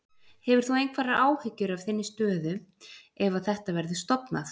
Hefur þú einhverjar áhyggjur af þinni stöðu ef að þetta verður stofnað?